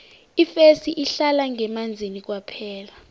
ifesi ihlala ngemanzini kwaphela